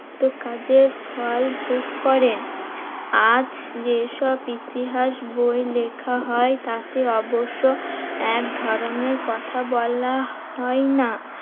উক্ত কাজের ফল ভোগ করেন। আজ যেসব ইতিহাস বই লেখা হয় তাকে অবশ্য একধরণের কথা বলা হয় না।